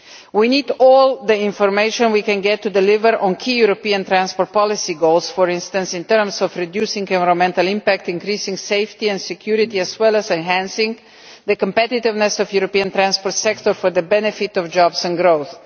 We need all the information we can get to deliver on key European transport policy goals, for instance in terms of reducing the environmental impact and increasing safety and security as well as enhancing the competitiveness of the European transport sector for the benefit of jobs and growth.